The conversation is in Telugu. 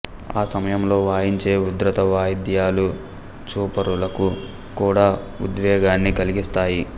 ఆ సమయంలో వాయించే ఉధృత వాయిద్యాలు చూపరులకు కూడా ఉద్వేగాన్ని కలిగిస్తాయి